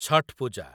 Chhath Puja